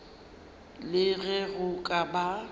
le ge go ka ba